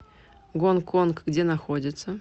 гонг конг где находится